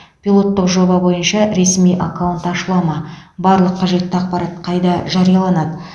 пилоттық жоба бойынша ресми аккаунт ашыла ма барлық қажетті ақпарат қайда жарияланады